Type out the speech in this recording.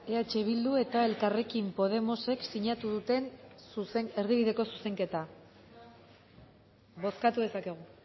eh bildu eta elkarrekin podemosek sinatu duten erdibideko zuzenketa bozkatu dezakegu